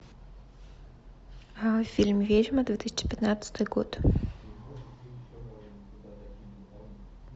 фильм ведьма две тысячи пятнадцатый год